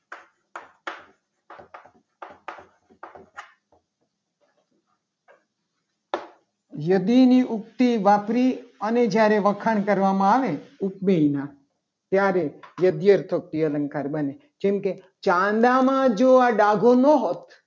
યદી ની ઉક્તિ વાપરી. અને જ્યારે વખાણ કરવામાં આવે. ઉપમેયના ત્યારે યદરથી અલંકાર બને જેમ કે ચાંદામાં જો આ ડાઘો ના હોત.